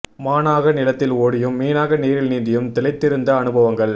மானாக நிலத்தில் ஓடியும் மீனாக நீரில் நீந்தியும் திளைத்திருந்த அனுபவங்கள்